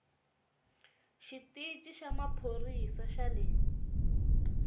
xitichi xa maphorisa xa le